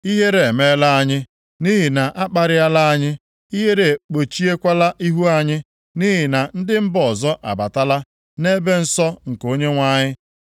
“Ihere emeela anyị, nʼihi na a kparịala anyị. Ihere ekpuchiekwala ihu anyị, nʼihi na ndị mba ọzọ abatala nʼebe nsọ nke ụlọnsọ Onyenwe anyị.”